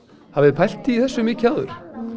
hafið þið pælt í þessu mikið áður